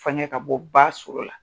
Fɛngɛ ka bɔ ba so la.